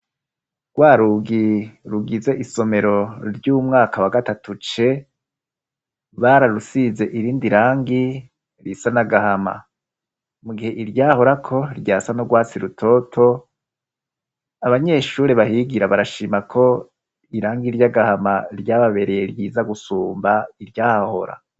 Rwa rugi rugize isomero ry'umwaka wa gatatu C bararusize irindi rangi risa n'agahama mu gihe iryahorako ryasa n'urwasi rutoto, abanyeshure bahigira barashima ko irangi ry'agahama ryababereye ryiza gusumba iryahora.